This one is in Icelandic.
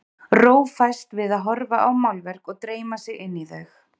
Ró fæst við að horfa á málverk og dreyma sig inn í þau.